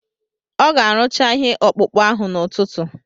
Ọ ga-arụcha ihe ọkpụkpụ ahụ n'ụtụtụ